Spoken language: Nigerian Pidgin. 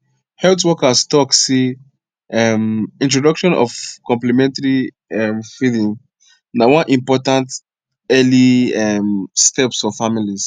health workers talk seh um introduction of complementary um feeding na one important early um steps for families